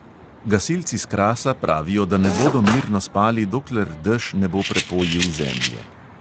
Gasilci s krasa pravijo, da ne bodo mirno spali, dokler dež ne bo prepojil zemlje.